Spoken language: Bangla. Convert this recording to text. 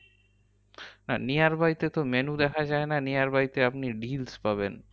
হ্যাঁ nearby তে তো menu দেখা যায় না। nearby তে আপনি deals পাবেন।